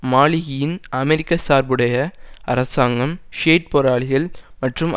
மாலிகியின் அமெரிக்க சார்புடைய அரசாங்கம் ஷியைட் போராளிகள் மற்றும்